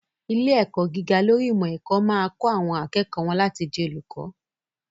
Ilé-ẹ̀kọ́ gíga lórí ìmọ̀-ẹ̀kọ́ máa kọ́ àwọn akẹ́kọ̀ọ́ wọ́n láti di olùkọ́.